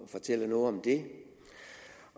fortælle noget om det